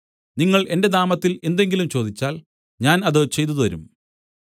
നിങ്ങൾ എന്റെ നാമത്തിൽ എന്തെങ്കിലും ചോദിച്ചാൽ ഞാൻ അത് ചെയ്തുതരും